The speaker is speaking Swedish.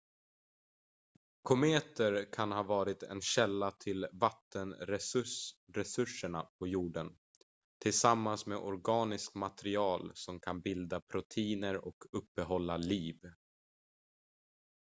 kometer kan ha varit en källa till vattenresurserna på jorden tillsammans med organiskt material som kan bilda proteiner och uppehålla liv